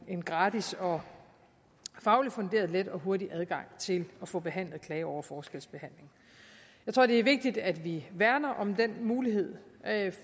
en gratis og fagligt funderet let og hurtig adgang til at få behandlet klager over forskelsbehandling jeg tror at det er vigtigt at vi værner om den mulighed